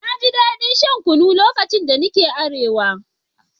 Na ji daɗin shan kunu lokacin da nake Arewa